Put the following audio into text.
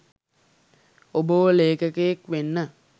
ඔබව ලේඛකයෙක් වෙන්න